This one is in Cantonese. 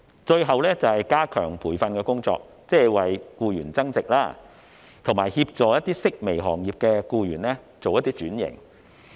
最後，便是加強培訓的工作，即是為僱員增值，以及協助一些式微行業的僱員轉型。